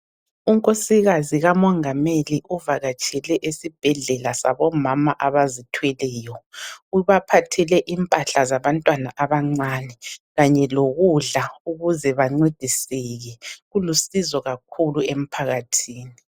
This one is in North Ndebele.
UNkosikazi kamongameli uvakatshele esibhedlela sabomama abazithweleyo. Ubaphathele impahla zabantwana abancane kanye lokudla ukuze bancediseke. Ulusizo kakhulu emphakathini.